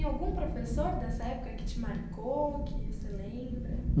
Tem algum professor dessa época que te marcou, que você lembra?